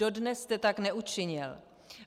Dodnes jste tak neučinil.